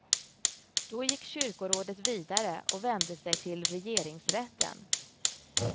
Då gick kyrkorådet vidare och vände sig till regeringsrätten.